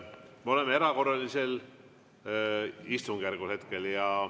Me oleme hetkel erakorralisel istungjärgul.